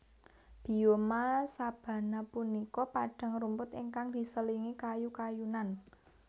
Bioma sabana punika padang rumput ingkang diselingi kayu kayunan